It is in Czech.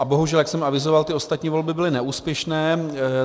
A bohužel, jak jsem avizoval, ty ostatní volby byly neúspěšné.